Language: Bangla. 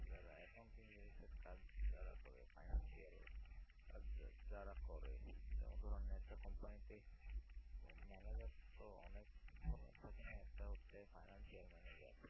যারা accounting related এর কাজ যারা করে financial কাজ যারা করে যেমন ধরুনএকটা company তে manager তো অনেক ধরুন থাকে না একটা হচ্ছে financial manager